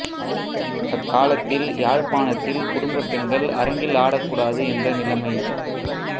அக்காலத்தில் யாழ்ப்பாணத்தில் குடும்பப் பெண்கள் அரங்கில் ஆடக்கூடாது என்ற நிலமை